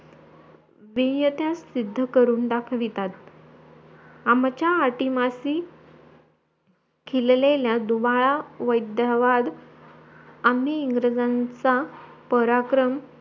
बियता शिद्द करून दाखवतात आमचा अतिमाशी खिललेल्या दुबळा वैध्यवाद आम्ही इंग्रज्यांचा पराक्रम